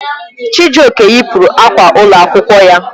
Chijioke yipụrụ akwa ụlọ akwụkwọ ya.